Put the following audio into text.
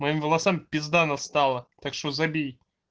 моим волосам пизда настала так что забей